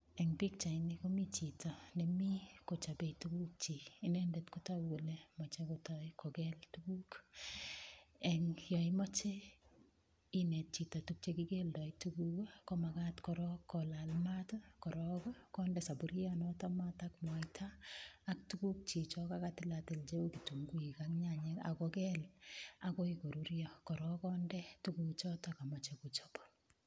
Eng' pikchaini komi chito nemi kochobei tukukchi inendet kotoku kole mochei kotoi kokel tukuk yo imoche inet chito tukche kikeldoi tukuk komakat korok kolal maat korok konde sapurionoto maat ak mwaita ak tukukchi cho kakatilatil cheu kitunguik ak nyanyek akokel akoi korurio korok konde tukuchoto kamochei kochop